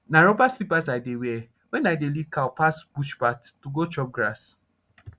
na rubber slippers i dey wear wen i dey lead cow pass bush path to go chop grass